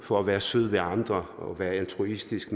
for at være sød ved andre og være altruistisk